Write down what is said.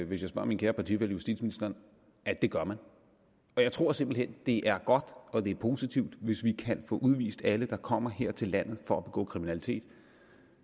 hvis jeg spørger min kære partifælle justitsministeren at det gør man og jeg tror simpelt hen det er godt og det er positivt hvis vi kan få udvist alle der kommer her til landet for at begå kriminalitet